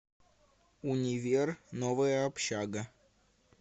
универ новая общага